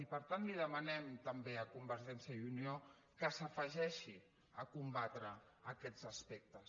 i per tant li demanem també a convergència i unió que s’afegeixi a combatre aquests aspectes